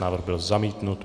Návrh byl zamítnut.